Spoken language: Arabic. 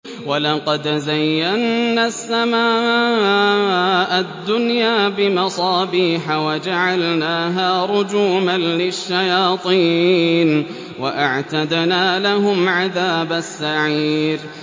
وَلَقَدْ زَيَّنَّا السَّمَاءَ الدُّنْيَا بِمَصَابِيحَ وَجَعَلْنَاهَا رُجُومًا لِّلشَّيَاطِينِ ۖ وَأَعْتَدْنَا لَهُمْ عَذَابَ السَّعِيرِ